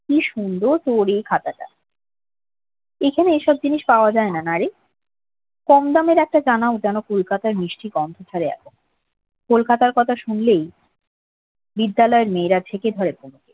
কি সুন্দর তোরে এই খাতাটা এখানে এসব জিনিস পাওয়া যায় না নারে কম দামের একটা জামাও যেন কলকাতার মিষ্টি গন্ধ ভরে আছে কলকাতার কথা শুনলেই বিদ্যালয়ের মেয়েরা